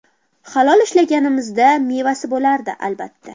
Halol ishlaganimizda, mevasi bo‘lardi, albatta.